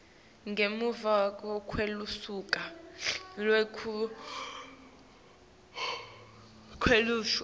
ngemuva kwelusuku lwekukhishwa